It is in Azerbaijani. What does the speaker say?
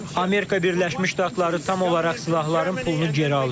Amerika Birləşmiş Ştatları tam olaraq silahların pulunu geri alır.